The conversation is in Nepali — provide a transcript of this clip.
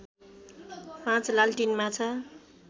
५ लालटिन माछा